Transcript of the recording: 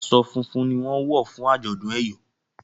aṣọ funfun ní wón wọ fún ajọdun eyọ